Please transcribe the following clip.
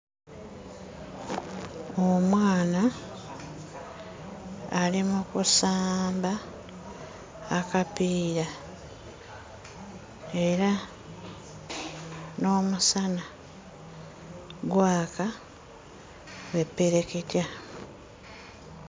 Omwana ali mu kusamba akapiira era n'omusana gwaka bwe ppereketya.